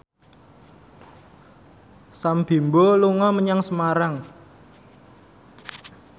Sam Bimbo dolan menyang Semarang